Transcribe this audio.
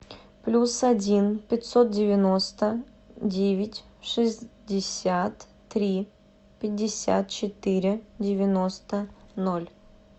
плюс один пятьсот девяносто девять шестьдесят три пятьдесят четыре девяносто ноль